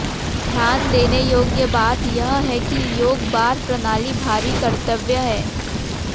ध्यान देने योग्य बात यह है कि योक बार प्रणाली भारी कर्तव्य है